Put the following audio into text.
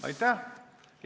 Aitäh!